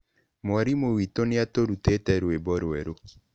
Mwarimũ witũ nĩ aatũrutire rwĩmbo rwerũ.